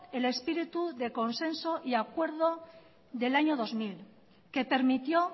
el espíritu de consenso y acuerdo del año dos mil que permitió